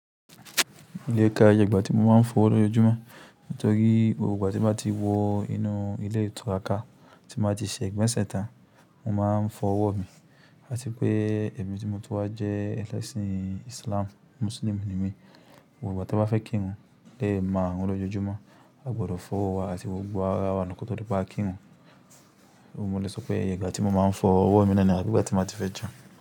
Ilé ká yì iba tí mo máa ń fọ wọ́ lọ́jọ́júmọ́, nítorí gbogbo ìgbà tí mo bá ti wọ inú ilé ìtura kan tí mo bá ti ṣẹ ìgbẹ́sẹ̀ tán, mo máa ń fọ ọwọ́ mi. Àti pé èmi tí mo tún wá jẹ́ ẹlẹ́sìn Islam, Muslim ni mí. Gbogbo ìgbà tí wọ́n bá fẹ́ kí n mu léèé má wọ́n lọ́jọ́júmọ́. A gbọdọ̀ fọ ọwọ́ wa àti gbogbo ara wa nu kọ́ tó dé pé a kì rù Òun mọ̀ọ́ léso pé ẹ̀yà ègbà tí mo máa ń fọ ọwọ́ mi níní abí égbè tí mo bá ti fẹ́ jẹun.